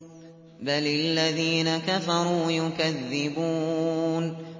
بَلِ الَّذِينَ كَفَرُوا يُكَذِّبُونَ